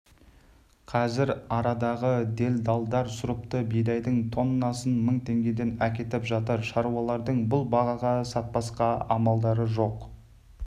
қазір арадағы делдалдар сұрыпты бидайдың тоннасын мың теңгеден әкетіп жатыр шаруалардың бұл бағаға сатпасқа амалдары жоқ